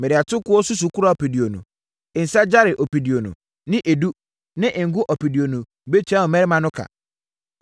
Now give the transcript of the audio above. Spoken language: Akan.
Mede atokoɔ susukora ɔpeduonu, nsã gyare ɔpeduonu ne edu ne ngo ɔpeduonu bɛtua wo mmarima no ka.”